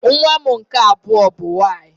Nwa m nke abụọ bụ nwaanyị